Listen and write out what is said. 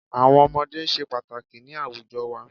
Àwọn ọmọdé se pàtàkì ni àwùjo wa